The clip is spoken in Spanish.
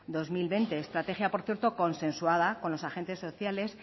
dos mil veinte estrategia por cierto consensuada con los agentes sociales